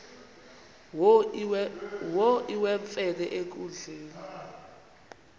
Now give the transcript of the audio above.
wo iwemfene enkundleni